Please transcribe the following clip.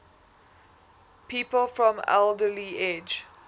people from alderley edge